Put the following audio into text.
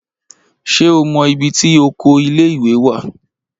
Ṣé o mọ ibi tí oko ilé-ìwé wà?